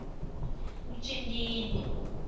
mjindini